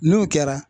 N'o kɛra